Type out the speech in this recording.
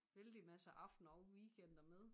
Vældig masse aftener og weekender med